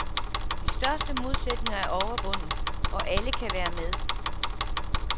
De største modsætninger er overvundet og alle kan være med.